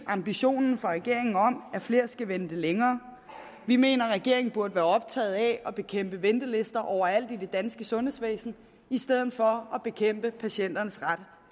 ambition om at flere skal vente længere vi mener at regeringen burde være optaget af at bekæmpe ventelister overalt i det danske sundhedsvæsen i stedet for at bekæmpe patienternes ret